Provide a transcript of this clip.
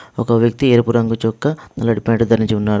ఒక వ్యక్తి ఎరుపు రంగు చొక్కా నల్లటి ప్యాంటు ధరించి ఉన్నాడు.